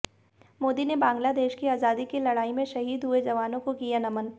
मोदी ने बंगलादेश की आजादी की लड़ाई में शहीद हुए जवानों को किया नमन